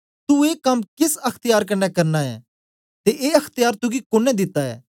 तू ए कम केस अख्त्यार कन्ने करना ए ते ए अख्त्यार तुगी कुने दिता ऐ